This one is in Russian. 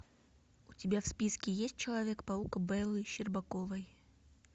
у тебя в списке есть человек паук беллы щербаковой